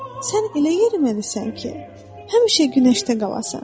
Sən elə yeriməlisən ki, həmişə günəşdə qalasan.